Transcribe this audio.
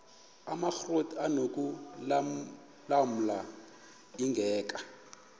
amakrot anokulamla ingeka